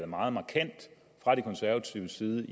meget markant fra de konservatives side